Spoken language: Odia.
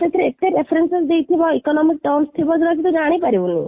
ସେଥିରେ ଏତେ references ଦେଇଥିବ economic terms ଥିବ ଯୋଉଟା କି ତୁ ଜାଣି ପାରିବୁନି